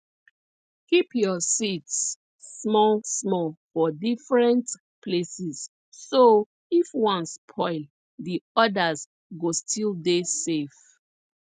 keep your seeds smallsmall for different places so if one spoil the others go still dey safe